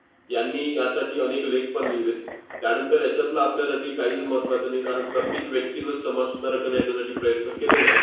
यांनी यासाठी अनेक लेखपण लिहिले. त्यानंतर यांच्यातलं आपल्यासाठी काहीच महत्त्वाचं नाही, कारण प्रत्येक व्यक्तीनंच, समाजसुधारकाने याच्यासाठी प्रयत्न केलेले आहेत.